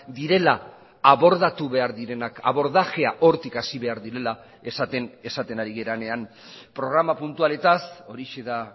direla abordatu behar direnak abordajea hortik hasi behar direla esaten ari garenean programa puntualetaz horixe da